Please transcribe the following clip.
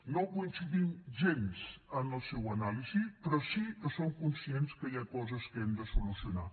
no coincidim gens en la seva anàlisi però sí que som conscients que hi ha coses que hem de solucionar